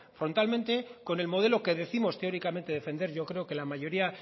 frontalmente con el modelo que décimos teóricamente defender yo creo que la mayoría